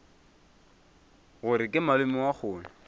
gore ke malome wa kgole